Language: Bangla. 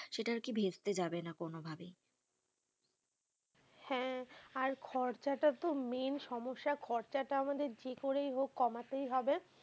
সেটা কি আর ভেস্তে যাবে না কোনো ভাবেই হ্যাঁ, আর খরচ টা তো main সমস্যা খরচা টা আমাদের যে করে হোক কমাতেই হবেই,